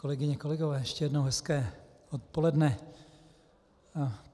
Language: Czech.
Kolegyně, kolegové, ještě jednou hezké odpoledne.